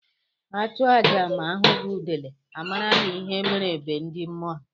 A chụọ aja ma a hụghi udele, a mara na ihe mere be ndi mmụọ.